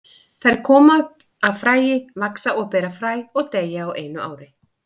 Þær koma upp af fræi, vaxa og bera fræ og deyja á einu ári.